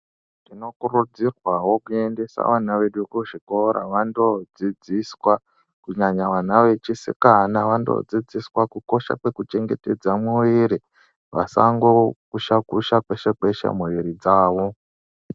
Tinokurudzirwawo kuendeswa vana vedu kuzvikora vandodzidziswa kunyanya vana vechisikana vandodzidziswa kukosha kwekuchengetedza muwiri vasangokusha kusha peshe peshe muwiri dzawo.